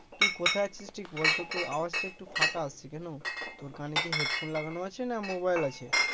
তুই কোথায় আছিস ঠিক বলতো তোর আওয়াজ টা একটু ফাটা আসছে কেন তোর কানে কি হেডফোন লাগানো আছে না মোবাইল আছে?